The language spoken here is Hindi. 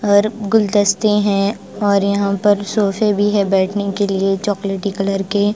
और गुलदस्ते है और यहाँ सोफे भी हैं बैठने के लिए चॉकलेटी कलर के--